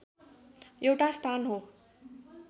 एउटा स्थान हो